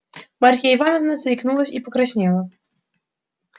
марья ивановна заикнулась и покраснела